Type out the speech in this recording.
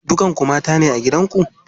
Dukan ku mata ne a gidan ku?